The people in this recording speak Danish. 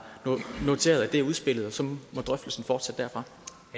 noteret at det er udspillet og så må drøftelsen fortsætte derfra